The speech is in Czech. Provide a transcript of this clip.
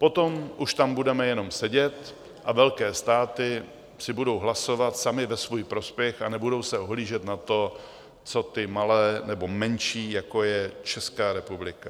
Potom už tam budeme jenom sedět a velké státy si budou hlasovat samy ve svůj prospěch a nebudou se ohlížet na to, co ty malé nebo menší, jako je Česká republika.